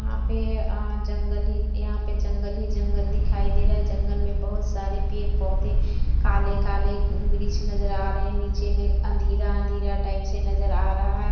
यहाँ पे अ जंगल यहाँ पे जंगल ही जंगल दिखाई दे रहा है जंगल में बहुत सारे पेड़ पौधे काले-काले वृछ नजर आ रहे हैं नीचे में अंधेरा-अंधेरा टाइप सा नजर आ रहा है।